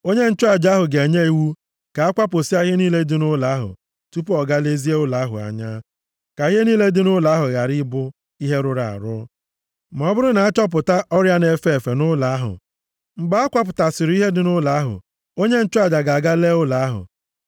Onye nchụaja ahụ ga-enye iwu ka a kwapụsịa ihe niile dị nʼụlọ ahụ tupu ọ gaa lezie ụlọ ahụ anya, ka ihe niile dị nʼụlọ ahụ ghara ịbụ ihe rụrụ arụ, ma ọ bụrụ na achọpụta ọrịa na-efe efe nʼụlọ ahụ. Mgbe a kwapụtasịrị ihe dị nʼụlọ ahụ, onye nchụaja ga-aga lee ụlọ ahụ.